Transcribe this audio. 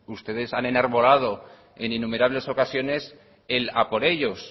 ustedes han enarbolado en innumerables ocasiones el a por ellos